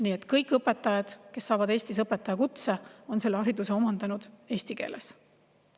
Nii et kõik, kes saavad Eestis õpetajakutse, on selle hariduse omandanud eesti keeles.